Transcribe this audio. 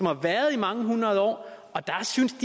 har været i mange hundrede år og de synes